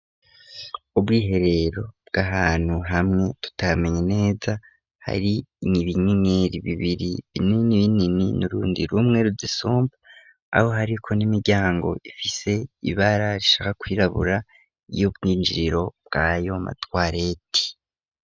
ubwiherero bw'ahantu hamwe tutamenye neza hari ibi ibinyinyiri bibiri binini binini n'urundi rumwe ruzisumba, aho hariko n'imiryango ifise ibara rishaka kwirabura y'ubwinjiriro bwayo matwareti.